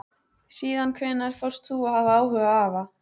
Síðan hvenær fórst þú að hafa áhuga á afa?